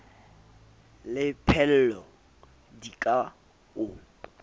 le pheello di ka o